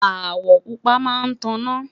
awo pupa má tá na